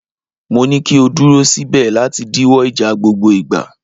Mo ní kí o dúró síbẹ̀ láti díwọ́ ìjà gbogbo ìgbà.!